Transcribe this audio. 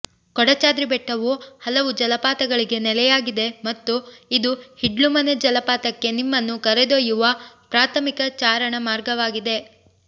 ಕೊಡಾಚಾದ್ರಿ ಬೆಟ್ಟವು ಹಲವು ಜಲಪಾತಗಳಿಗೆ ನೆಲೆಯಾಗಿದೆ ಮತ್ತು ಇದು ಹಿಡ್ಲುಮನೆ ಜಲಪಾತಕ್ಕೆ ನಿಮ್ಮನ್ನು ಕರೆದೊಯ್ಯುವ ಪ್ರಾಥಮಿಕ ಚಾರಣ ಮಾರ್ಗವಾಗಿದೆ